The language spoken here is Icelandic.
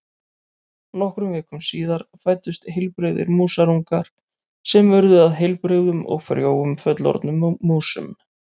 Nokkrum vikum síðar fæddust heilbrigðir músarungar sem urðu að heilbrigðum og frjóum fullorðnum músum.